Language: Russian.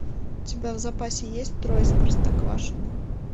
у тебя в запасе есть трое из простоквашино